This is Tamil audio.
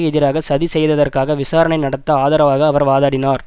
எதிராக சதி செய்ததற்காக விசாரணை நடத்த ஆதரவாக அவர் வாதாடினார்